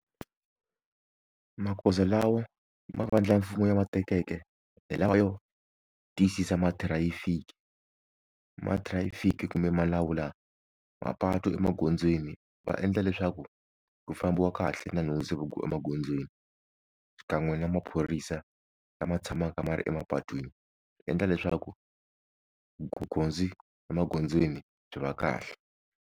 Magoza lawa mavandla mfumo ya ma tekeke hi lawa yo tiyisisa mathirayifiki, mathirayifiki kumbe ma lawula mapatu emagondzweni va endla leswaku ku fambiwa kahle na nhundzu emagondzweni xikan'we na maphorisa lama tshamaka ma ri emapatwini swi endla leswaku emagondzweni byi va kahle.